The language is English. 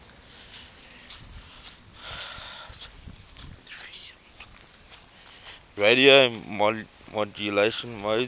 radio modulation modes